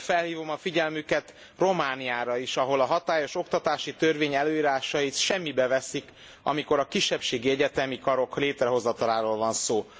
De felhívom a figyelmüket Romániára is, ahol a hatályos oktatási törvény előírásait semmibe veszik, amikor a kisebbségi egyetemi karok létrehozataláról van szó.